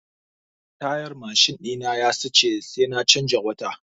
Tayar mashin ɗina ya siɗe sai na canza wata.